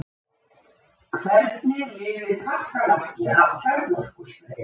Hvernig lifir kakkalakki af kjarnorkusprengju?